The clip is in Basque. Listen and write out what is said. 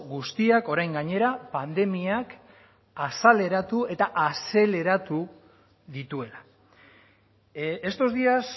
guztiak orain gainera pandemiak azaleratu eta azeleratu dituela estos días